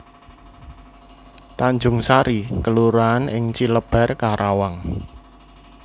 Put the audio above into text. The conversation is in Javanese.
Tanjungsari kelurahan ing Cilebar Karawang